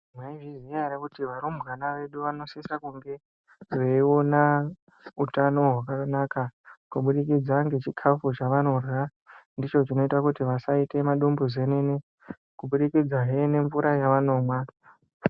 Mwaizviziya ere kuti varumbwana vedu vanosise kunge veiona utano hwakanaka kubudikidza ngechikafa zvavanorya. Ndicho chinoita kuti asaita madumbu zenene kuburikidzahe ngemvura yaanomwa